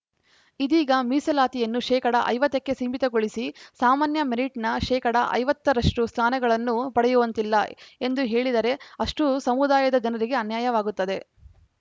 ಇದೀಗ ಮೀಸಲಾತಿಯನ್ನು ಶೇಕಡಾ ಐವತ್ತ ಕ್ಕೆ ಸೀಮಿತಗೊಳಿಸಿ ಸಾಮಾನ್ಯ ಮೆರಿಟ್‌ನ ಶೇಕಡಾ ಐವತ್ತ ರಷ್ಟುಸ್ಥಾನಗಳನ್ನು ಪಡೆಯುವಂತಿಲ್ಲ ಎಂದು ಹೇಳಿದರೆ ಅಷ್ಟೂಸಮುದಾಯದ ಜನರಿಗೆ ಅನ್ಯಾಯವಾಗುತ್ತದೆ